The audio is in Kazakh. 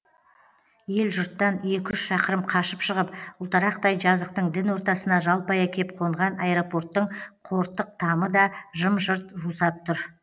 ел жұрттан екі үш шақырым қашып шығып ұлтарақтай жазықтың дін ортасына жалпая кеп қонған аэропорттың қортық тамы да жым жырт жусап тұр